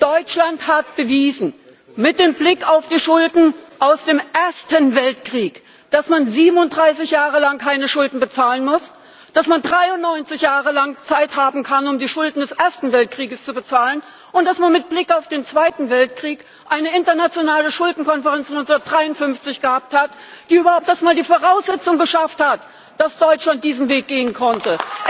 Deutschland hat mit Blick auf die Schulden aus dem Ersten Weltkrieg bewiesen, dass man 37 Jahre lang keine Schulden bezahlen muss, dass man 93 Jahre lang Zeit haben kann, um die Schulden des Ersten Weltkriegs zu bezahlen, und dass man mit Blick auf den Zweiten Weltkrieg eine internationale Schuldenkonferenz von 1953 gehabt hat, die überhaupt erst einmal die Voraussetzung geschaffen hat, dass Deutschland diesen Weg gehen konnte!